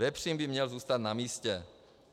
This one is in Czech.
Vepřín by měl zůstat na místě.